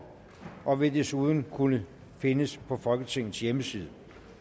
og vil desuden kunne findes på folketingets hjemmeside